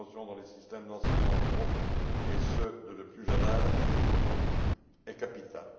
Sa promotion dans les systèmes d'enseignement en Europe, et ce, dès le plus jeune âge, est capitale.